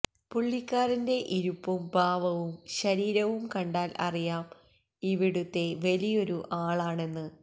പുള്ളിക്കാരന്ന്റെ ഇരിപ്പഉം ഭാവവും ശരീരവും കണ്ടാല് അറിയാം ഇവിടത്തെ വലിയൊരു ആള്ണെന്ന്